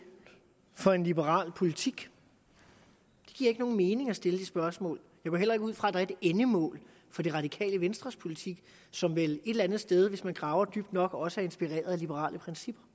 for en liberal politik det giver ikke nogen mening at stille det spørgsmål jeg går heller ikke ud fra at der er et endemål for det radikale venstres politik som vel et eller andet sted hvis man graver dybt nok også er inspireret af liberale principper